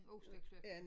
Osteklokken